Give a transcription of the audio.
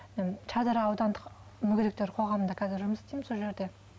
мен шардара аудандық мүгедектер қоғамында қазір жұмыс істеймін сол жерде